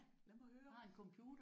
Ja lad mig høre